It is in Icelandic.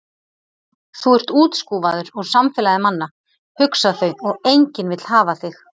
Þú ert útskúfaður úr samfélagi manna, hugsa þau, og enginn vill hafa þig.